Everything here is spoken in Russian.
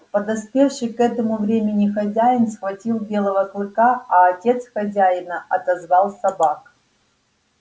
подоспевший к этому времени хозяин схватил белого клыка а отец хозяина отозвал собак